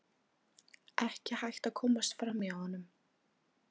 Ekki hægt að komast fram hjá honum.